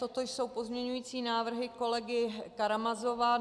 Toto jsou pozměňující návrhy kolegy Karamazova.